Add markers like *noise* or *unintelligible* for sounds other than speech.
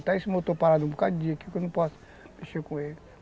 *unintelligible* esse motor parado um bocado de dia, porque eu não posso mexer com ele.